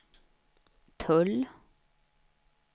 tull